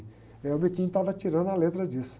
Aí o estava tirando a letra disso.